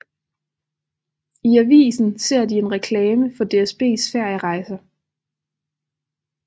I avisen ser de en reklame for DSBs ferierejser